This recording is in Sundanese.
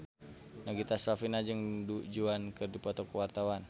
Nagita Slavina jeung Du Juan keur dipoto ku wartawan